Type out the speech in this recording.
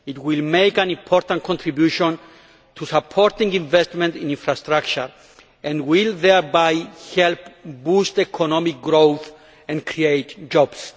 It will make an important contribution to supporting investment in infrastructure and will thereby help boost economic growth and create jobs.